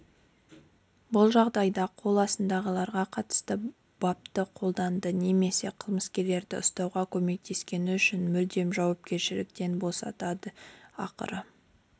бұл жағдайда қол астындағыларға қатысты бапты қолданады немесе қылмыскерді ұстауға көмектескені үшін мүлдем жауапкершіліктен босатады ақыры